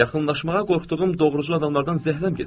Yaxınlaşmağa qorxduğum doğrucul adamlardan zəhləm gedir.